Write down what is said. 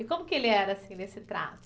E como que ele era, assim, nesse trato?